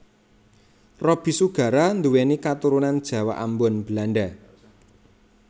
Roby Sugara nduwéni katurunan Jawa Ambon Belanda